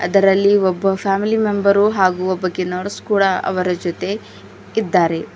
ಅದರಲ್ಲಿ ಒಬ್ಬ family member ಹಾಗು ಒಬ್ಬಕಿ ನರ್ಸ್ ಕೂಡ ಅವರ ಜೊತೆ ಇದ್ದಾರೆ.